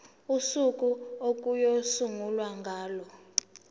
usuku okuyosungulwa ngalo